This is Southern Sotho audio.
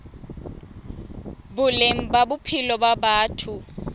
boleng ba bophelo ba batho